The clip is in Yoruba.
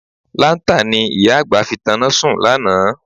Láńtà ni ìyá àgbà fi tanná sùn lánàá.